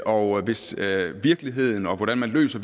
og hvis virkeligheden og hvordan man løser